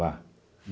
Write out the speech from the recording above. Vá!